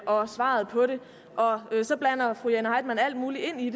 om svaret på det og så blander fru jane heitmann alt muligt ind i